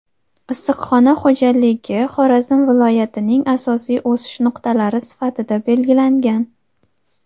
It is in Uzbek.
issiqxona xo‘jaligi Xorazm viloyatining asosiy "o‘sish nuqtalari" sifatida belgilangan.